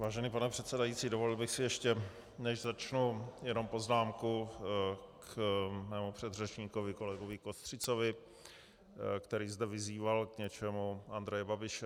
Vážený pane předsedající, dovolil bych si, ještě než začnu, jenom poznámku k svému předřečníkovi kolegovi Kostřicovi, který zde vyzýval k něčemu Andreje Babiše.